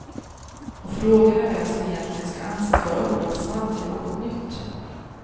Och frågan är vem som egentligen ska anses vara upphovsman till något nytt.